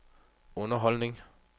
underholdning